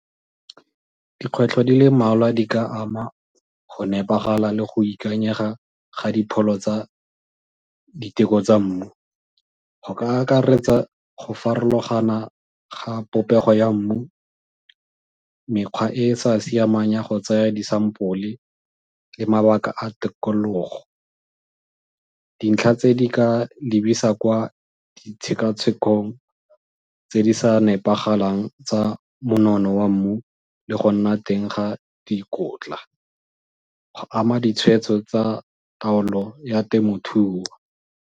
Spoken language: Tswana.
Dikgwetlho di le mmalwa di ka ama go nepagala le go ikanyega ga dipholo tsa diteko tsa mmu, go ka akaretsa go farologana ga popego ya mmu, mekgwa e e sa siamang ya go tsaya di-sample le mabaka a tikologo. Dintlha tse di ka lebisa kwa ditshekatshekong tse di sa nepagalang tsa monono wa mmu le go nna teng ga dikotla go ama ditshwetso tsa taolo ya temothuo.